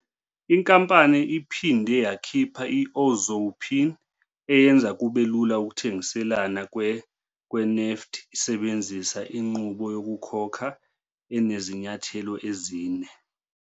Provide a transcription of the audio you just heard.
Inkampani iphinde yakhipha i-Ozow PIN eyenza kube lula ukuthengiselana kwe-nEFT isebenzisa inqubo yokukhokha enezinyathelo ezine.